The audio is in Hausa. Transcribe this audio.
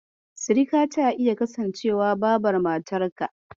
Sirika zata iya kasancewa Babar matarka.